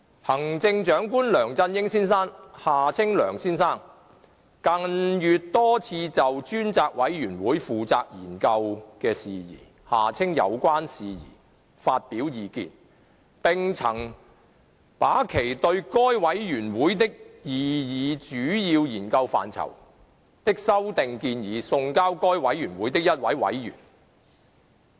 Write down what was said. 行政長官梁振英先生近月多次就專責委員會負責研究的事宜發表意見，並曾把其對該委員會的擬議主要研究範疇的修訂建議送交該委員會的一位委員。